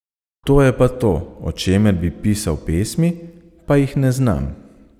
To je pa to, o čemer bi pisal pesmi, pa jih ne znam.